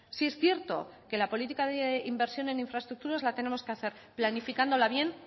sí es cierto que la política de inversión en infraestructura la tenemos que hacer planificándola bien